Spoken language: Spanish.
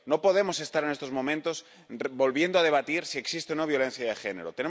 No podemos estar en estos momentos volviendo a debatir si existe o no violencia de género.